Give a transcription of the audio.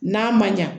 N'a man ɲa